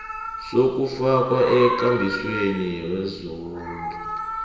sokufakwa ekambisweni yezindlu